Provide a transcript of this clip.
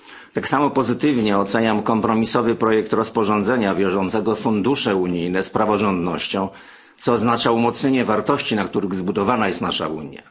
Tak samo pozytywnie oceniam kompromisowy projekt rozporządzenia wiążącego fundusze unijne z praworządnością, co oznacza umocnienie wartości, na których zbudowana jest nasza Unia.